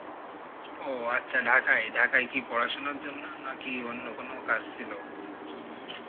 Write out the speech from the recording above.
ও আচ্ছা Dhaka এ, Dhaka এ কি পরাসনার জন্য নাকি অন্য কোনো কাজ ছিল?